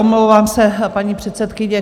Omlouvám se, paní předsedkyně.